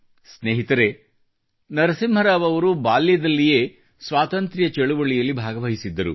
ಸ್ನೇಹಿತರೇ ನರಸಿಂಹರಾವ್ ಅವರು ಬಾಲ್ಯದಲ್ಲಿಯೇ ಸ್ವಾತಂತ್ರ್ಯ ಚಳವಳಿಯಲ್ಲಿ ಭಾಗವಹಿಸಿದ್ದರು